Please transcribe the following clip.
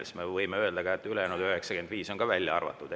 Siis me võime öelda ka, et ülejäänud 95 on välja arvatud.